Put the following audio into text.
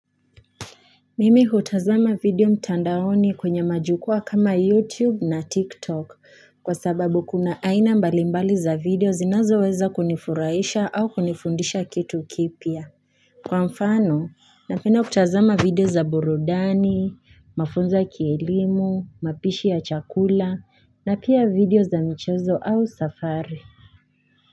Mimi hutazama video mtandaoni kwenye majukua kama YouTube na TikTok kwa sababu kuna aina mbalimbali za video zinazo weza kunifurahisha au kunifundisha kitu kipia. Kwa mfano, napenda kutazama video za burudani, mafunzo ya kielimu, mapishi ya chakula na pia video za mchezo au safari.